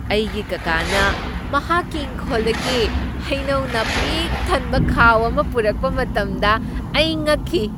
ꯑꯩꯒꯤ ꯀꯥꯀꯥꯅ ꯃꯍꯥꯛꯀꯤ ꯏꯪꯈꯣꯜꯗꯒꯤ ꯍꯩꯅꯧꯅ ꯄꯤꯛ ꯊꯟꯕ ꯈꯥꯎ ꯑꯃ ꯄꯨꯔꯛꯄ ꯃꯇꯝꯗ ꯑꯩ ꯉꯛꯈꯤ꯫